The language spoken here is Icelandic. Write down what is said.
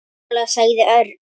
Sammála sagði Örn.